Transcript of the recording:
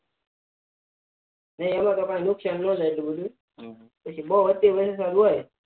ન એમાં તો કઈ નુકસાન ન જાય એટલું બધું પણ બહુ અતિ વરસાદ હોય તો